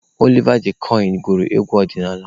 Oliva D kokwe gụrụ egwu ọdịnaala.